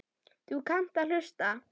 Þú kannt að hlusta.